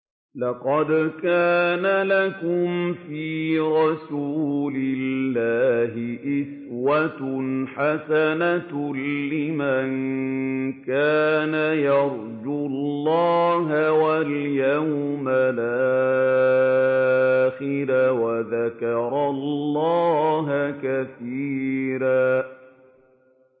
لَّقَدْ كَانَ لَكُمْ فِي رَسُولِ اللَّهِ أُسْوَةٌ حَسَنَةٌ لِّمَن كَانَ يَرْجُو اللَّهَ وَالْيَوْمَ الْآخِرَ وَذَكَرَ اللَّهَ كَثِيرًا